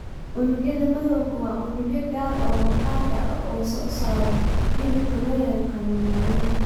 Unugyada madowga waa unugyo gaar ah oo maqaarka ah oo soo saara midabka loo yaqaanno melanin.